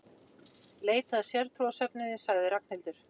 Leita að sértrúarsöfnuði sagði Ragnhildur.